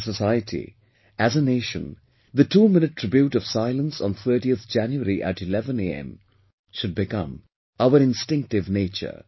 As a society, as a nation, the 2 minute tribute of silence on 30th January at 11 am, should become our instinctive nature